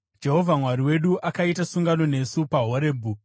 Jehovha Mwari wedu akaita sungano nesu paHorebhi.